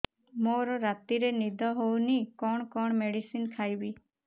ମୋର ରାତିରେ ନିଦ ହଉନି କଣ କଣ ମେଡିସିନ ଖାଇବି